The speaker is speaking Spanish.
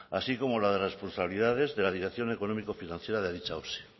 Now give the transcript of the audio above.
así como la de responsabilidades de la dirección económico financiera de dicha osi